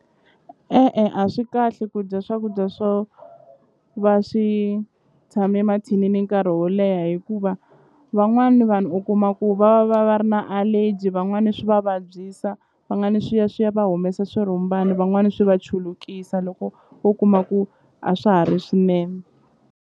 E-e a swi kahle ku dya swakudya swo va swi tshame mathinini nkarhi wo leha hikuva van'wani vanhu u kuma ku va va va va ri na allergy van'wani swi va vabyisa swi ya swi ya va humesa swirhumbani van'wani swi va chulukisa loko wo kuma ku a swa ha ri swinene.